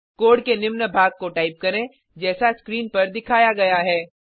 code के निम्न भाग को टाइप करें जैसा स्क्रीन पर दिखाया गया है